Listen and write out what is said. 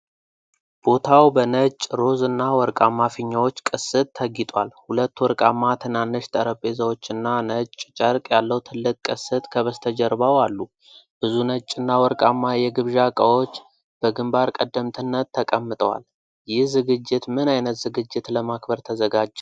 ቦታው በነጭ፣ ሮዝ እና ወርቃማ ፊኛዎች ቅስት ተጊጧል። ሁለት ወርቃማ ትናንሽ ጠረጴዛዎች እና ነጭ ጨርቅ ያለው ትልቅ ቅስት ከበስተጀርባው አሉ። ብዙ ነጭና ወርቃማ የግብዣ እቃዎች በግንባር ቀደምትነት ተቀምጠዋል። ይህ ዝግጅት ምን አይነት ዝግጅት ለማክበር ተዘጋጀ?